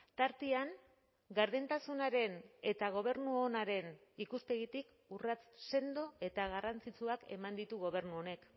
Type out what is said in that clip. tartean gardentasunaren eta gobernu onaren ikuspegitik urrats sendo eta garrantzitsuak eman ditu gobernu honek